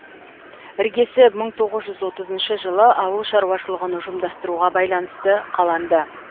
іргесі мың тоғыз жүз отызыншы жылы ауыл шаруашылығын ұжымдастыруға байланысты қаланды